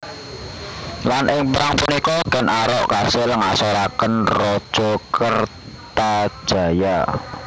Lan ing perang punika Ken Arok kasil ngasoraken Raja Kertajaya